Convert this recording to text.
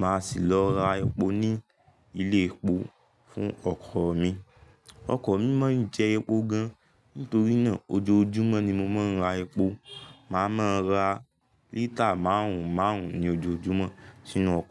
màá sì lọ ra epo ní ilé epo fún ọkọ̀ mi. Ọkọ̀ mi mọ ìjẹ epo gan, nítorí náà ojoojúmọ́ ni mo máa ń ra epo. Màá máa ra lítà márùn ún márùn ún ní ojoojúmọ́ sínú ọkọ̀.